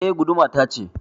Eh. Guduma ta ce.